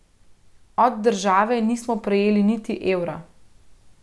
Od države nismo prejeli niti evra.